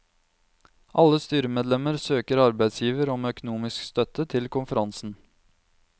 Alle styremedlemmer søker arbeidsgiver om økonomisk støtte til konferansen.